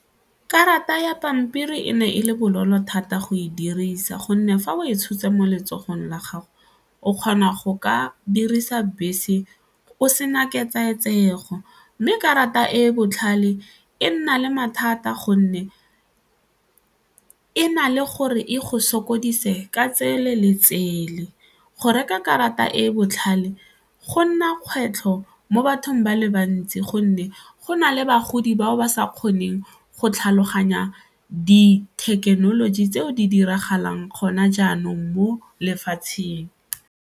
Karata ya pampiri e ne e le bonolo thata go e dirisa gonne fa o e tshotse mo letsogong la gago o kgona go ka dirisa bese o sena mme karata e e botlhale e nna le mathata gonne e na le gore e go sokodise ka tsele le tsele, go reka karata e e botlhale go nna kgwetlho mo bathong ba le bantsi gonne go na le bagodi bao ba sa kgoneng go tlhaloganya dithekenoloji tseo di diragalang gona jaanong mo lefatsheng.